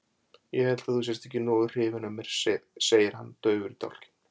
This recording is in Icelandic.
Ég held að þú sért ekki nógu hrifin af mér, segir hann daufur í dálkinn.